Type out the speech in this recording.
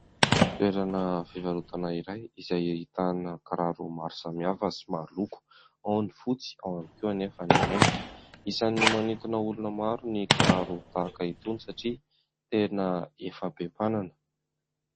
Toerana fivarotana iray izay ahitana kiraro maro samihafa sy maro loko, ao ny fotsy ao ihany koa anefa ny mainty. Isany manintona olona maro ny kiraro tahaka itony satria tena efa be mpanana.